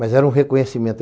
Mas era um reconhecimento.